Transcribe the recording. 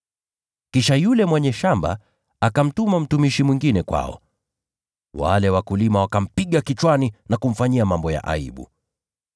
Kisha yule mwenye shamba akamtuma mtumishi mwingine kwao; nao wale wakulima wakampiga kichwani na kumfanyia mambo ya aibu.